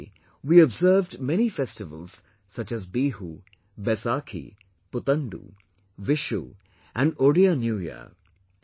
Recently, we observed many festivals such as Bihu, Baisakhi, Puthandu, Vishu and Odia New Year